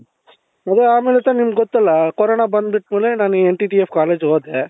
ಸರಿ ಆಮೇಲೆ ದ ನಿಮಗೆ ಗೊತಲ್ಲ corona ಬಂದ್ಬಿಟ್ ಮೇಲೆ ನಾನು NTTF college ಗೆ ಹೋದೆ